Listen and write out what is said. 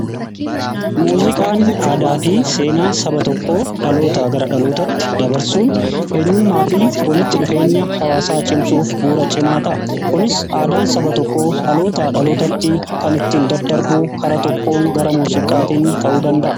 Muuziqaan aadaa fi seenaa saba tokkoo dhaloota gara dhalootaatti dabarsuun eenyummaa fi walitti dhufeenya hawaasaa cimsuuf bu'uura cimataa kunis aadaan saba tokkoo dhaloota dhalootatti kan ittiin daddarbuu kara tokkoon gara muuziqaatiin ta'uu danda'a